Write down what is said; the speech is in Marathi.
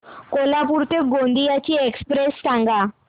कोल्हापूर ते गोंदिया ची एक्स्प्रेस सांगा